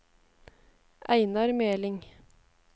Einar Meling